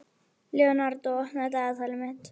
Leonardó, opnaðu dagatalið mitt.